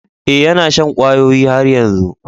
Eh, yana shan kwayoyi har yanzu.